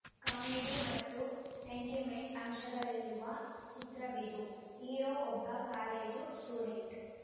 comedy ಮತ್ತು sentiment ಅಂಶಗಳಿರುವ ಚಿತ್ರವಿದು ಹೀರೋ ಒಬ್ಬ ಕಾಲೇಜು ಸ್ಟೂಡೆಂಟ್‌